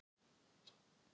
Heimsins háværasta kisa